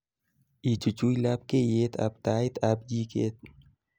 ichuch labkeyet ab tait ab jiket